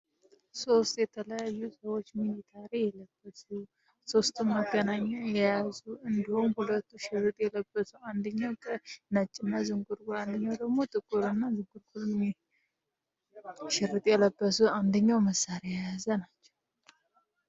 ሶስት የተለያዩ ሰዎች ሚሊታሪ የለበዙ ሶስቱ መገናኛ የያዙ እንደሁም ሁለቱ ሽርጥ የለበሱ አንድኛው ከ ነጭ እና ዝንጉርጉር አንደኛው ደግሞ ጥቁር እና ዝጉርኩር ሽርጥ የለበሱ አንድኛው መሣሪ የያዘ ናቸው።